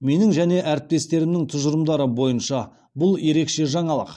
менің және әріптестерімнің тұжырымдары бойынша бұл ерекше жаңалық